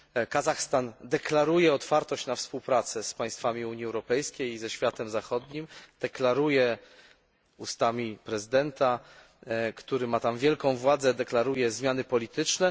Kazachstan deklaruje otwartość na współpracę z państwami Unii Europejskiej i ze światem zachodnim, deklaruje ustami prezydenta który ma tam wielką władzę zmiany polityczne.